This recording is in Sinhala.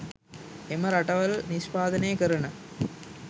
එම රටවල් නිෂ්පාදනය කරන